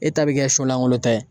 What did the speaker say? E ta bi kɛ solankolonta ye